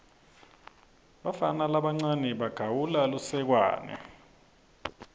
bafana labancane bagawula lusekwane